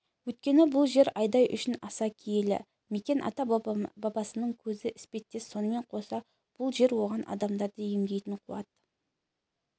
өйткені бұл жер айдай үшін аса киелі мекен ата-бабасының көзі іспеттес сонымен қоса бұл жер оған адамдарды емдейтін қуат